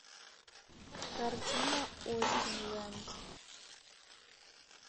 картина остинленд